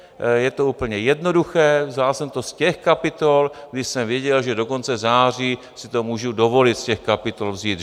Je to úplně jednoduché, vzal jsem to z těch kapitol, kde jsem věděl, že do konce září si to můžu dovolit z těch kapitol vzít.